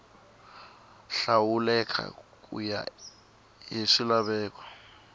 hlawuleka ku ya hi swilaveko